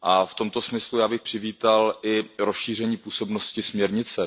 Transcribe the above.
V tomto smyslu bych přivítal i rozšíření působnosti směrnice.